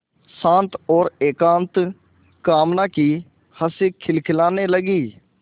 शांत और एकांत कामना की हँसी खिलखिलाने लगी